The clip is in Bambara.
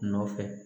Nɔfɛ